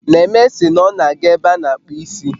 Neme sị na ọ na aga ebe a na akpu isi